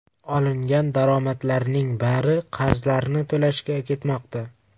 Olingan daromadlarning bari qarzlarni to‘lashga ketmoqda.